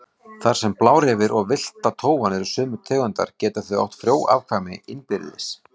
Þar sem blárefir og villta tófan eru sömu tegundar geta þau átt frjó afkvæmi innbyrðis.